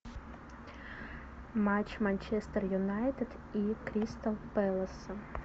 матч манчестер юнайтед и кристал пэласа